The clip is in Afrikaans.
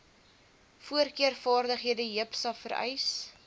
voorkeurvaardighede jipsa vereis